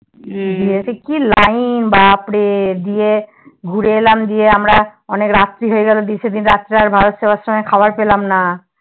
দিয়ে তে কি Line বাপরে দিয়ে ঘুরে এলাম দিয়ে এলাম আমরা অনেক রাত্রি হয়ে গেলো সেদিন রাত্রে আর ভারত সেবাশ্রমে খাবার পেলাম না